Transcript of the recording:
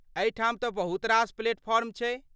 एहिठाम तँ बहुत रास प्लेटफॉर्म छै।